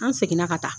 An seginna ka taa